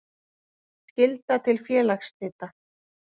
Skylda til félagsslita.